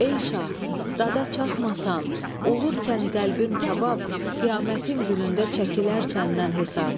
Ey şah, dada çatmasan, olarkən qəlbim kabab, qiyamətin günündə çəkilər səndən hesab.